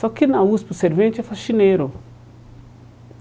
Só que na USP o servente é faxineiro.